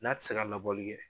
N'a tɛ se ka labɔli kɛ